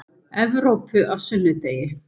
Evrópu á sunnudegi.